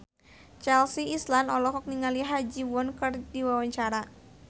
Chelsea Islan olohok ningali Ha Ji Won keur diwawancara